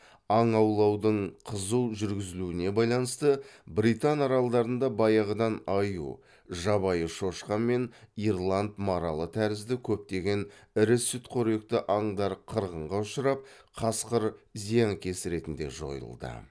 аң аулаудың қызу жүргізілуіне байланысты британ аралдарында баяғыдан аю жабайы шошқа мен ирланд маралы тәрізді көптеген ірі сүтқоректі аңдар қырғынға ұшырап қасқыр зиянкес ретінде жойылды